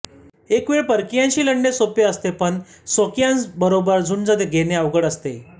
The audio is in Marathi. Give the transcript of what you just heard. एकवेळ परकीयांशी लढणे सोपे असतेपण स्वकीयांबरोबर झुंज घेणे अवघड असते